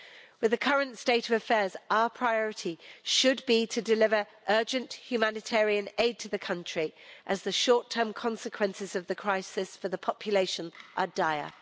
With the current state of affairs, our priority should be to deliver urgent humanitarian aid to the country, as the short term consequences of the crisis for the population are dire.